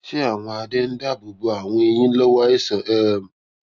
ṣé àwọn adé ń dáàbò bo àwọn eyín lówó àìsàn um